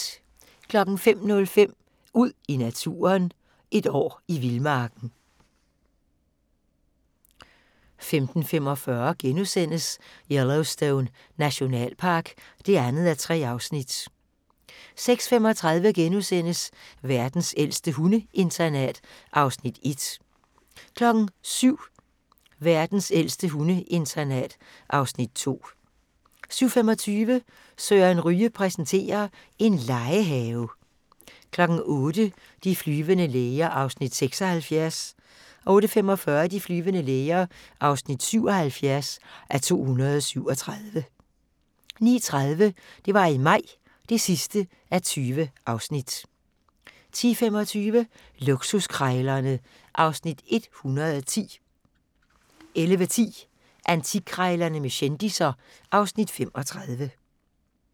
05:05: Ud i naturen: Et år i vildmarken 05:45: Yellowstone Nationalpark (2:3)* 06:35: Verdens ældste hundeinternat (Afs. 1)* 07:00: Verdens ældste hundeinternat (Afs. 2) 07:25: Søren Ryge præsenterer: En legehave 08:00: De flyvende læger (76:237) 08:45: De flyvende læger (77:237) 09:30: Det var i maj (20:20) 10:25: Luksuskrejlerne (Afs. 110) 11:10: Antikkrejlerne med kendisser (Afs. 35)